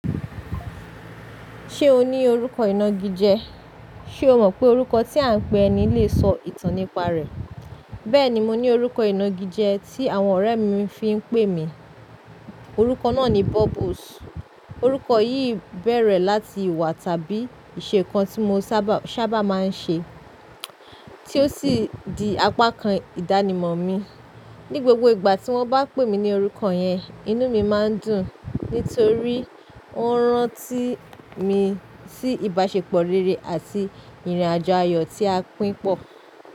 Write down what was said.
Ṣe o ni orukọ ina gije? Ṣe o mọ pe orukọ ti a n pe ẹni le sọ itan nipa rẹ. Bẹẹni, mo ni orukọ inagije ti àwọn ọrẹ mi fi n pe mi. Orukọ naa ni Bubbles. Orukọ yii bẹrẹ lati iwa tabi isẹ nkan ti mo saba maa n ṣe, ti o si di apakan idanimọ mi. Ni gbogbo igba ti wọn ba pe mi ni orukọ yẹn, inu mi maa n dun, nitori on ran ti mi si ibasepọ rere ati irin-ajo ayọ ti a pin pọ.